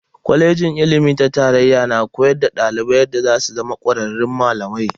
Kwalejin ilimi ta tarayya na koyar da dalibai yadda zasu zama kwararrun malamai.